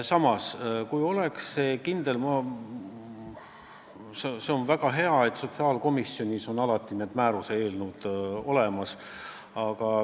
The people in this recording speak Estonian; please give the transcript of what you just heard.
Mis puutub kindlusse, siis see on väga hea, et sotsiaalkomisjonis on alati määruse eelnõud olemas.